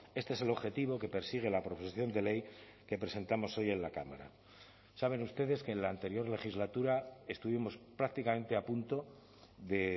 este es el objetivo que persigue la proposición de ley que presentamos hoy en la cámara saben ustedes que en la anterior legislatura estuvimos prácticamente a punto de